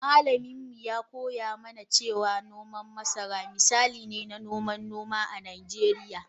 Malamin mu ya koya mana cewa noman masara misali ne na noman noma a Nijeriya.